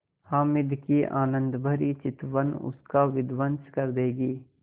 हामिद की आनंदभरी चितवन उसका विध्वंस कर देगी